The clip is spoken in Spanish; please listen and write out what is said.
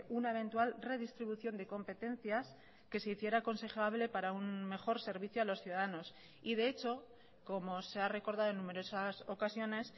una eventual redistribución de competencias que se hiciera aconsejable para un mejor servicio a los ciudadanos y de hecho como se ha recordado en numerosas ocasiones